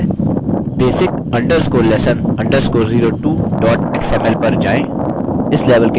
basic_lesson_02xml पर जाएँ